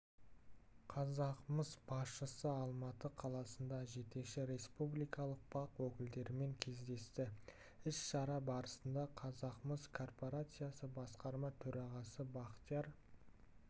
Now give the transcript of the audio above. қазақмыс басшысы алматы қаласында жетекші республикалық бақ өкілдерімен кездесті іс-шара барысында қазақмыс корпорациясы басқарма төрағасы бақтияр